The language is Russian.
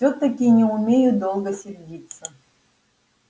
всё-таки не умею долго сердиться